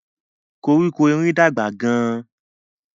Koríko erin dàgbà gán.